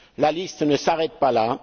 La liste ne s'arrête pas